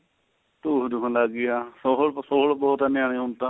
ਟੁਈ ਦੁੱਖਣ ਲੱਗ ਗਈ ਹਾਂ ਹੋਰ ਬਹੁਤ ਏ ਨਿਆਣੇ ਹੁਣ ਤਾਂ